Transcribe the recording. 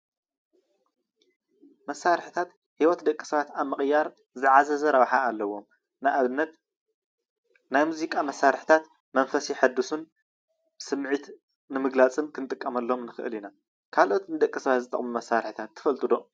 መሳርሕታት ሂወት ደቂ ሰባት ኣብ ምቅያር ዝዓዘዘ ረብሓ ኣለዎ፣ ንኣብነት ናይ ሙዚቃ መሳርሕታት መንፈስ የሕድሱን ስምዒት ንምግላፅን ክንጥቀመሎም ንክእል ኢና። ካልኦት ንደቂ ሰባት ዝጠቅሙ መሳርሕታት ትፈልጡ ዶ?